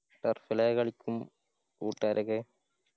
ആയി കളിക്കും കൂട്ടുകാരൊക്കെ